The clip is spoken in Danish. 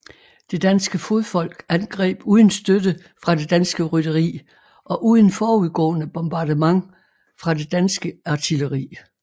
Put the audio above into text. Det danske fodfolk angreb uden støtte fra det danske rytteri og uden forudgående bombardement fra det danske artilleri